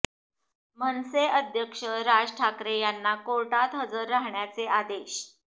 मनसे अध्यक्ष राज ठाकरे यांना कोर्टात हजर राहण्याचे आदेश